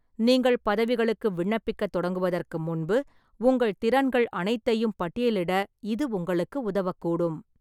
நீங்கள் பதவிகளுக்கு விண்ணப்பிக்கத் தொடங்குவதற்கு முன்பு உங்கள் திறன்கள் அனைத்தையும் பட்டியலிட இது உங்களுக்கு உதவக்கூடும்.